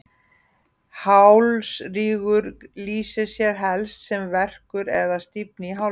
hálsrígur lýsir sér helst sem verkur eða stífni í hálsi